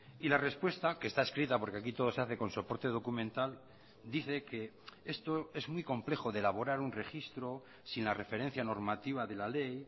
y la respuesta que está escrita porque aquí todo se hace con soporte documental dice que esto es muy complejo de elaborar un registro sin la referencia normativa de la ley